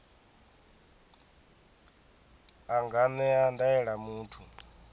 a nga ṅea ndaela muthu